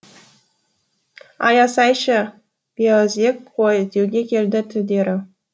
аясайшы бейаузек қой деуге келді тілдері